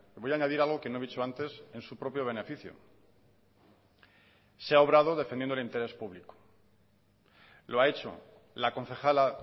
voy a añadir algo que no he dicho antes en su propio beneficio se ha obrado defendiendo el interés público lo ha hecho la concejala